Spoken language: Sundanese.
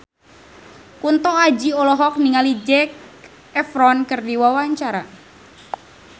Kunto Aji olohok ningali Zac Efron keur diwawancara